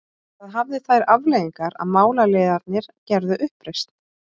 Það hafði þær afleiðingar að málaliðarnir gerðu uppreisn.